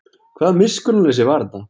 Hvaða miskunnarleysi var þetta?